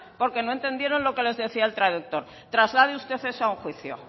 porque no entendieron lo que les decía el traductor traslade usted eso a un juicio